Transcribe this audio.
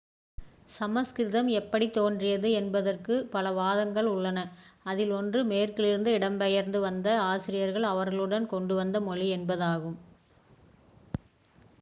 சமஸ்கிருதம் எப்படி தோன்றியது என்பதற்கு பல வாதங்கள் உள்ளன. அதில் ஒன்று one மேற்கிலிருந்து இடம்பெயர்ந்து வந்த ஆரியர்கள் அவர்களுடன் கொண்டு வந்த மொழி என்பதாகும்